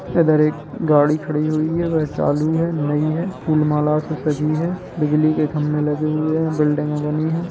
इधर एक गाड़ी खड़ी हुई है वह चालू है नई है फूल-माला से सजी है बिजली के खम्बे लगे हुए है बिल्डिंगे बनी हैं।